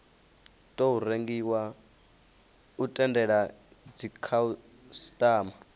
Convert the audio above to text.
tou rengiwa u tendela dzikhasitama